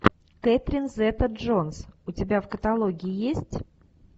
кэтрин зета джонс у тебя в каталоге есть